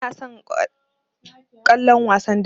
Bana son kallon wasan dambe.